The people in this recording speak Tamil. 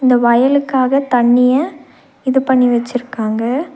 அந்த வயலுக்காக தண்ணிய இது பண்ணி வெச்சிருக்காங்க.